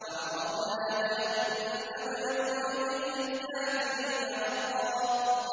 وَعَرَضْنَا جَهَنَّمَ يَوْمَئِذٍ لِّلْكَافِرِينَ عَرْضًا